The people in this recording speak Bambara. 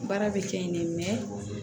Baara bɛ kɛ yen ne